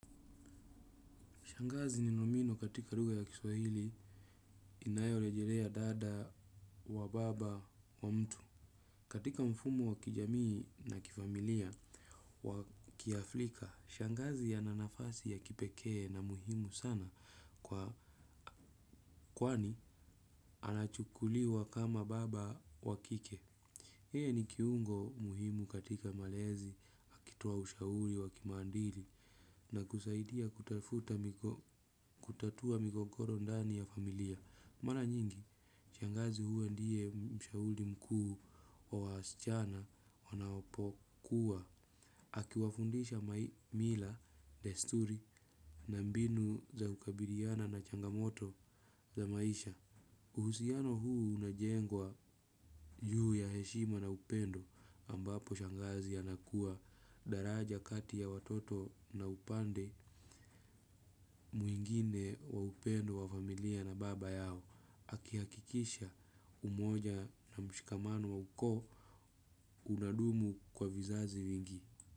Shangazi ni nomino katika ruga ya kiswahili inayorejelea dada wa baba wa mtu. Katika mfumo wa kijamii na kifamilia wa kiafrika, shangazi ana nafasi ya kipekee na muhimu sana kwa kwani anachukuliwa kama baba wa kike. Yeye ni kiungo muhimu katika malezi, akitoa ushauri wa kimaadili na kusaidia kutafuta migo, kutatua migogoro ndani ya familia. Mara nyingi, shangazi huwa ndiye mshauri mkuu wa wasichana wanapokuwa. Akiwafundisha mila, desturi na mbinu za kukabiliana na changamoto za maisha. Uhusiano huu unajengwa juu ya heshima na upendo ambapo shangazi anakuwa daraja kati ya watoto na upande mwingine wa upendo wa familia na baba yao. Akihakikisha umoja na mshikamano wa ukoo unadumu kwa vizazi vingi.